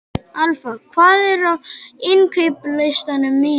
Alfa, hvað er á innkaupalistanum mínum?